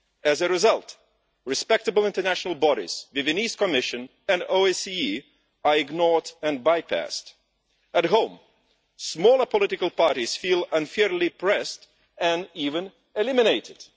As a result, respectable international bodies the Venice Commission and the OSCE are ignored and bypassed. At home, smaller political parties feel unfairly pressed and even eliminated.